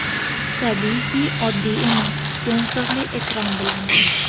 Tabiiyki oddiy emas sensorli ekran bilan.